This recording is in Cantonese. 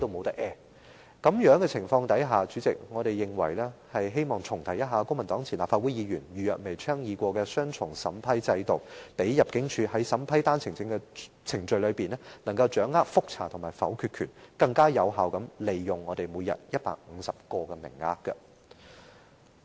在此情況下，我們認為得重提公民黨前立法會議員余若薇曾倡議的"雙重審批制度"，讓入境處可在審批單程證的程序中，掌握覆查和否決權，從而更有效地利用每天150個的名額。